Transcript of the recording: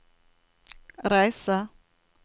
reise